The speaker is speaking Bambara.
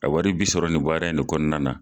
A wari bi sɔrɔ nin baara in de kɔnɔna na